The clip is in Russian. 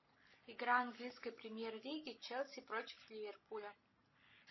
игра английской премьер лиги челси против ливерпуля